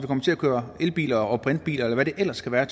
kommer til at køre elbiler og brintbiler eller hvad det ellers kan være